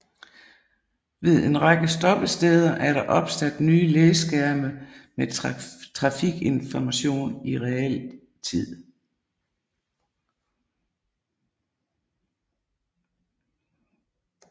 Ved en række stoppesteder er der opsat nye læskærme med trafikinformation i realtid